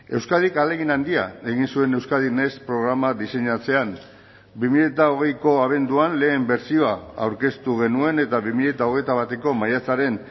euskadik ahalegin handia egin zuen euskadin next programa diseinatzean bi mila hogeiko abenduan lehen bertsioa aurkeztu genuen eta bi mila hogeita bateko maiatzaren